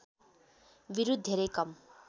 विरुद्ध धेरै कम